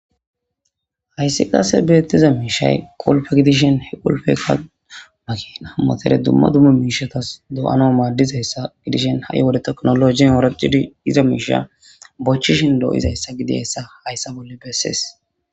Hayissi qasse beettiza miishshay qulppe gidishin ha qulppeyika makina motore dumma dumma miishshatas doyanas maaddizayssa gidishin ha7i wode tekinoloogiyan ooraxidi yiza miishsha bochchishin doyizayssa gidizayissa hayissa bolla bessees